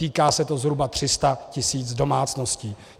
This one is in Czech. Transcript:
Týká se to zhruba 300 tisíc domácností.